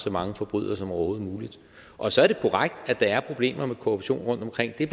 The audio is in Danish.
så mange forbrydere som overhovedet muligt og så er det korrekt at der er problemer med korruption rundtomkring det er